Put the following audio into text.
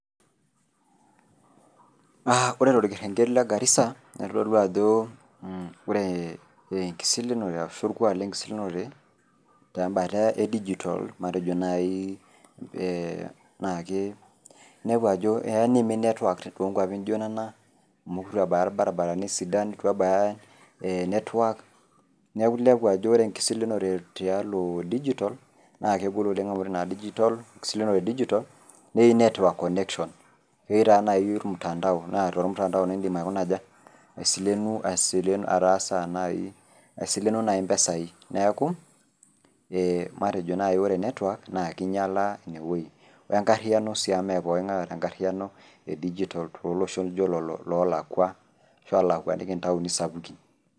Na ore torkerenket le garisa na kitadolu ajo ore enkisilinure ashu orkuak lenkisilunore tempata e digital matejo nai keya niimin network to kwapi nijo nona amu itu ebaya rbaribarani sidan, ituebaya network, neaku inepu ajo enkisilinore tiatua digital na kegol oleng amu keyieu cs network connection cs keyieu nai na ketii ormutandao, na to ormutandao indim ataasa asileno nai mpisai neaku ore nai network kinyala inewueji, enkariano si amu me pookin ngae oota tenkop nijo ina.